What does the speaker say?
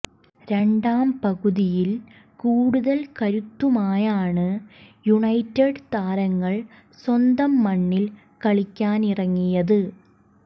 രണ്ടാം പകുതിയിൽ കൂടുതൽ കരുത്തുമായാണ് യുണൈറ്റഡ് താരങ്ങൾ സ്വന്തം മണ്ണിൽ കളിക്കാനിറങ്ങിയത്